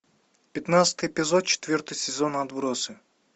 пятнадцатый эпизод четвертый сезон отбросы